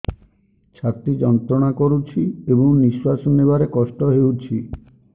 ଛାତି ଯନ୍ତ୍ରଣା କରୁଛି ଏବଂ ନିଶ୍ୱାସ ନେବାରେ କଷ୍ଟ ହେଉଛି